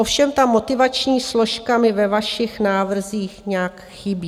Ovšem ta motivační složka mi ve vašich návrzích nějak chybí.